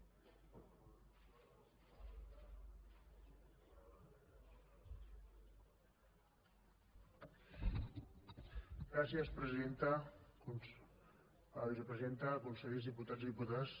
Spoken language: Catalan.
vicepresidenta consellers diputats i diputades